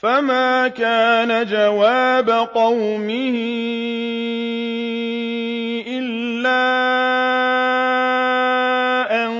فَمَا كَانَ جَوَابَ قَوْمِهِ إِلَّا أَن